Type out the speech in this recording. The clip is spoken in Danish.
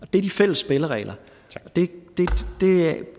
det er de fælles spilleregler og det